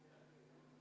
Aitäh!